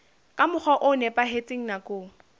ka mokgwa o nepahetseng nakong